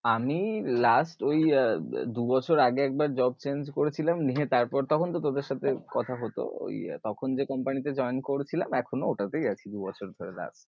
আমি last ঐ দু বছর আগে একবার job change করেছিলাম নিয়ে তারপর তখন তো তোদের সাথে কথা হতো ঐ তখন যে company তে join করেছিলাম এখনো ঐটা তেই আছি দু বছর ধরে last ।